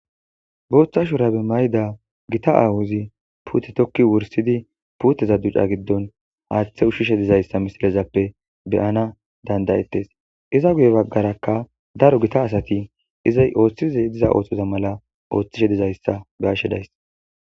Booththa shurabe mayda gita aawuzi puute tokki wursidi puuteza duca giddon haaththe ushshishe dizayssa misilezappe beyana dandayettes iza guye baggarakka daro gita asati izay ooththize diza ooththoza mala ooththishe dizayssa gaashedays